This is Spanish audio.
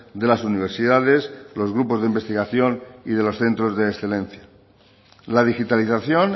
de las universidades los grupos de investigación y de los centros de excelencia la digitalización